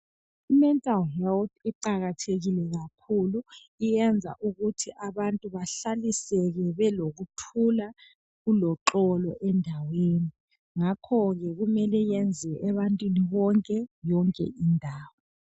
I mental health iqakathekile kakhulu iyenza ukuthi abantu bahlaliseke belokuthula kuloxolo endaweni. Ngakho ke kumele yenziwe ebantwini bonke yonke indawo.